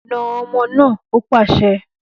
Nà omo naa!, ó pàṣẹ